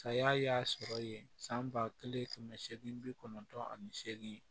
Saya y'a sɔrɔ ye san ba kelen kɛmɛ seegin bi kɔnɔntɔn ani seegin